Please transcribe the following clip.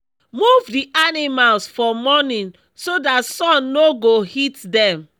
move the animals for morning so dat sun no go hit dem